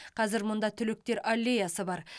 қазір мұнда түлектер аллеясы бар